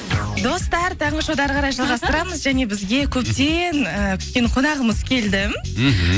достар таңғы шоуды әрі қарай жалғастырамыз және бізге көптен і күткен қонағымыз келді мхм